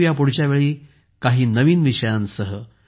भेटू या पुढच्या वेळी काही नवीन विषयांसह